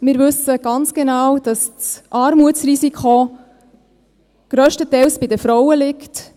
Wir wissen ganz genau, dass das Armutsrisiko grösstenteils bei den Frauen liegt.